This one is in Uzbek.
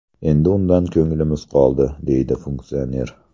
Endi undan ko‘nglimiz qoldi”, deydi funksioner.